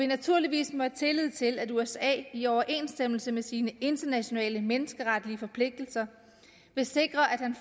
naturligvis have tillid til at usa i overensstemmelse med sine internationale menneskeretlige forpligtelser vil sikre at han